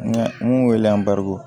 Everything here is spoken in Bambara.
Ŋa mun wele an bariko